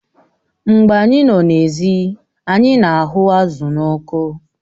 Mgbe anyị nọ n'èzí anyị na-aghu azụ̀ n'ọkụ